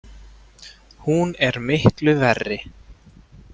Hún er miklu verri!